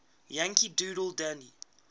yankee doodle dandy